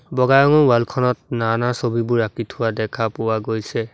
বগা ৰঙৰ ৱাল খনত নানা ছবিবোৰ আঁকি থোৱা দেখা পোৱা গৈছে।